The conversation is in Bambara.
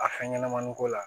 A fɛn ɲɛnɛmani ko la